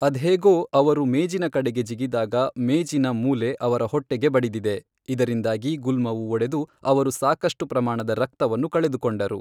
ಅದ್ಹೇಗೋ ಅವರು ಮೇಜಿನ ಕಡೆಗೆ ಜಿಗಿದಾಗ, ಮೇಜಿನ ಮೂಲೆ ಅವರ ಹೊಟ್ಟೆಗೆ ಬಡಿದಿದೆ, ಇದರಿಂದಾಗಿ ಗುಲ್ಮವು ಒಡೆದು ಅವರು ಸಾಕಷ್ಟು ಪ್ರಮಾಣದ ರಕ್ತವನ್ನು ಕಳೆದುಕೊಂಡರು.